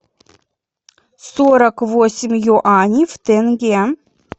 сорок восемь юаней в тенге